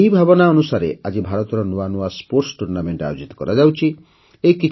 ଏହି ଭାବନା ଅନୁସାରେ ଆଜି ଭାରତରେ ନୂଆ ନୂଆ ଟୁର୍ଣ୍ଣାମେଣ୍ଟ ଆୟୋଜିତ କରାଯାଉଛି